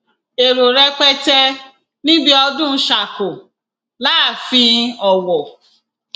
èrò rẹpẹtẹ níbi ọdún ṣàkò láàfin ọwọ